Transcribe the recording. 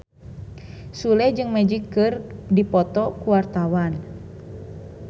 Sule jeung Magic keur dipoto ku wartawan